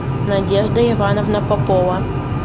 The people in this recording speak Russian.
надежда ивановна попова